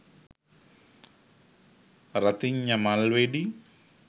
රතිඤ්ඤා මල් වෙඩි